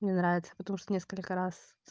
мне нравится потому что несколько раз